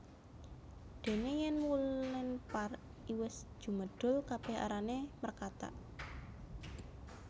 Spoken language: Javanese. Dene yen wulen par iwis jumedhul kabeh arane mrekatak